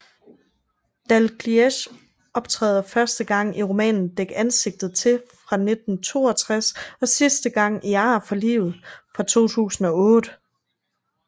Dalgliesh optræder første gang i romanen Dæk ansigtet til fra 1962 og sidste gang i Ar for livet fra 2008